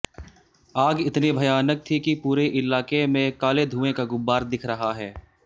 आग इतनी भयानक थी कि पूरे इलाके में काले धुएं का गुब्बार दिख रहा है